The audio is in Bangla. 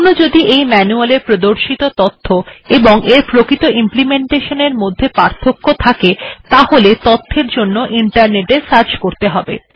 কখনো যদি এখানে এই manual এ প্রদর্শিত তথ্য এবং এর প্রকৃত implementation এর মধ্যে পার্থক্য থাকে তখন তথ্যের এর জন্য ইন্টারনেট এ সার্চ করতে হবে